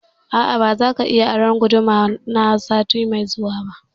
A'a, ba za ka iya aron guduma na sati mai zuwa ba